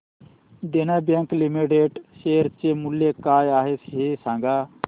देना bank limited share चे मूल्य काय आहे हे सांगा